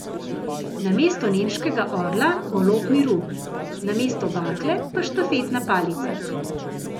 Namesto nemškega orla golob miru, namesto bakle pa štafetna palica.